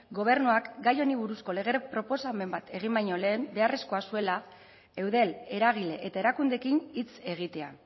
gobernuak gai honi buruzko lege proposamen bat egin baino lehen beharrezkoa zuela eudel eragile eta erakundeekin hitz egitea